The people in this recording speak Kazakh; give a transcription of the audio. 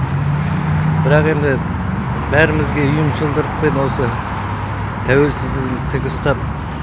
бірақ енді бәрімізге ұйымшылдықпен осы тәуелсіздігімізді тік ұстап